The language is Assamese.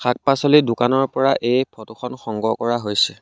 শাক পাচলিৰ দোকানৰ পৰা এই ফটো খন সংগ্ৰহ কৰা হৈছে।